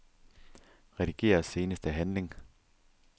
Rediger seneste handling.